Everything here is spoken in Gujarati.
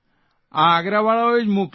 આ આગ્રાવાળાઓએ જ મોકલ્યા